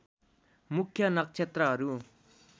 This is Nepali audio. मुख्य नक्षत्रहरू